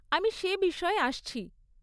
আমি সে বিষয়ে আসছি।